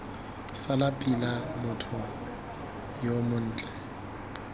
sala pila motho yo montle